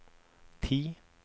ti